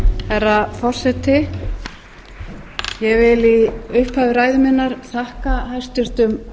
herra forseti ég vil í upphafi ræðu minnar þakka hæstvirtum